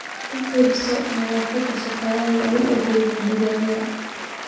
U fiirso nadaafadda shaqaalaha u adeega digaagga.